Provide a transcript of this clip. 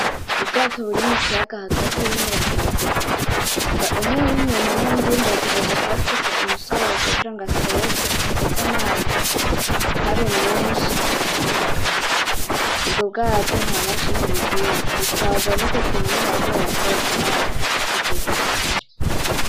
Ubwato buri mukiyaga hagati burimwo abantu batatu umwe w'inyuma nuwundi w'imbere atagerezwa kuba afise umusozo kugira ngo azose amazi ntabe menshi ngo abatembagaze, ubwo bwato nta mashine bugira butwarwa nuko kuntu bagenda basoza amazi akabwigiza imbere.